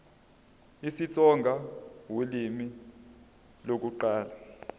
isitsonga ulimi lokuqala